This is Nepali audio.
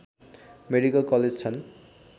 मेडिकल कलेज छन्